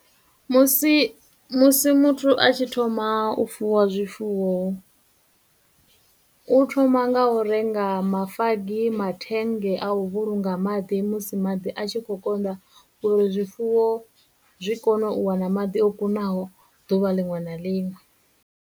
Musi, musi muthu a tshi thoma u fuwa zwifuwo u thoma nga u renga mafagi, mathenge a u vhulunga maḓi musi maḓi a tshi khou konḓa uri zwifuwo zwi kone u wana maḓi o kunaho ḓuvha liṅwe na liṅwe.